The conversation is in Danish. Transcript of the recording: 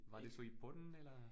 Var det så i Polen eller?